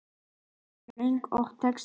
Katla semur lög og texta.